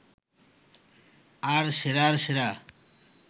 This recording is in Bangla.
আর সেরার সেরা